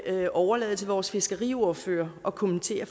jeg vil overlade til vores fiskeriordfører at kommentere